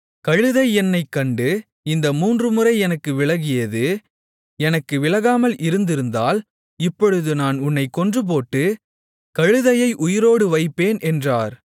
கழுதை என்னைக் கண்டு இந்த மூன்றுமுறை எனக்கு விலகியது எனக்கு விலகாமல் இருந்திருந்தால் இப்பொழுது நான் உன்னைக் கொன்றுபோட்டு கழுதையை உயிரோடு வைப்பேன் என்றார்